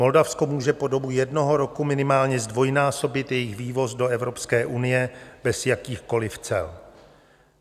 Moldavsko může po dobu jednoho roku minimálně zdvojnásobit jejich vývoz do Evropské unie bez jakýchkoli cel.